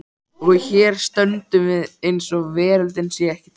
Og hér stöndum við eins og veröldin sé ekki til.